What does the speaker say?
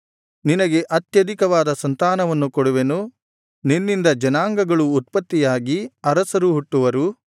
ನಿನಗೆ ಅತ್ಯಧಿಕವಾದ ಸಂತಾನವನ್ನು ಕೊಡುವೆನು ನಿನ್ನಿಂದ ಜನಾಂಗಗಳು ಉತ್ಪತ್ತಿಯಾಗಿ ಅರಸರು ಹುಟ್ಟುವರು